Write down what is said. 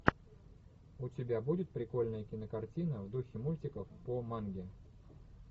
у тебя будет прикольная кинокартина в духе мультиков по манге